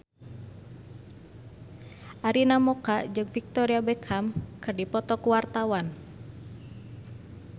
Arina Mocca jeung Victoria Beckham keur dipoto ku wartawan